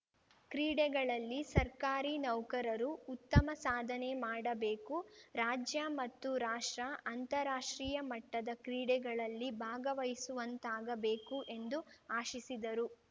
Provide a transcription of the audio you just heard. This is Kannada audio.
ಕ್ರೀಡೆಗಳಲ್ಲಿ ಸರ್ಕಾರಿ ನೌಕರರೂ ಉತ್ತಮ ಸಾಧನೆ ಮಾಡಬೇಕು ರಾಜ್ಯ ಮತ್ತು ರಾಷ್ಟ್ರ ಅಂತಾರಾಷ್ಟ್ರೀಯ ಮಟ್ಟದ ಕ್ರೀಡೆಗಳಲ್ಲಿ ಭಾಗವಹಿಸುವಂತಾಗಬೇಕು ಎಂದು ಆಶಿಸಿದರು